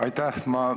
Aitäh!